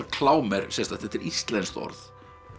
klám er sérstakt þetta er íslenskt orð